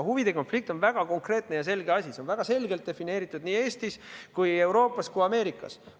Huvide konflikt on väga konkreetne ja selge asi, see on väga selgelt defineeritud nii Eestis kui Euroopas kui Ameerikas.